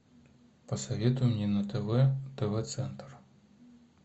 посоветуй мне на тв тв центр